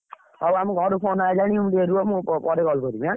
ଆଉ ଆମ ଘରୁ phone ଆଇଲାଣି ଟିକେ ରୁହ ମୁଁ ପରେ call କରିବି ଏଁ।